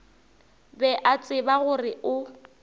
be a tseba gore o